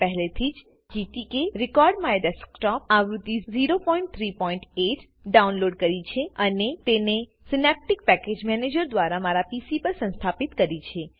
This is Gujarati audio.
મેં પહેલેથી જ gtk recordMyDesktopઆવૃત્તિ 038 ડાઉનલોડ કરી છેઅને તેને સીનેપ્તિક પેકેજ મેનેજર દ્વારા મારા પીસી પર સંસ્થાપિત કરી છે